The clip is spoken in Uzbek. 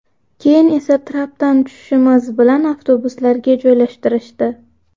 Keyin esa trapdan tushishimiz bilan avtobuslarga joylashtirishdi.